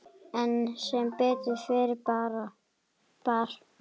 En sem betur fer bar